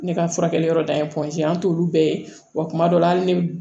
Ne ka furakɛli yɔrɔ dayɛlɛ an t'olu bɛɛ ye wa kuma dɔ la hali ne bi